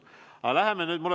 Aga lähme nüüd edasi.